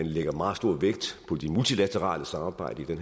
lægger meget stor vægt på det multilaterale samarbejde